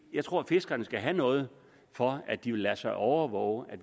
jeg tror at fiskerne skal have noget for at de vil lade sig overvåge